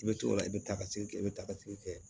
I bɛ t'o la i bɛ taa ka segin kɛ i bɛ taa ka segin kɛ